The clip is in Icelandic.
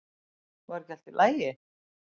Var ekki allt í lagi?